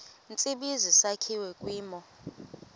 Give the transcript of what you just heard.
tsibizi sakhiwa kwimo